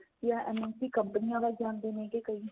ਜਾਂMNC ਕੰਪਨਿਆ ਵੱਲ ਜਾਂਦੇ ਨੇਗੇ ਕਈ